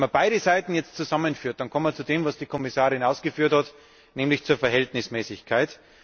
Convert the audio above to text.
Wenn man jetzt beide Seiten zusammenführt, kommt man zu dem, was die Kommissarin ausgeführt hat, nämlich zur Verhältnismäßigkeit.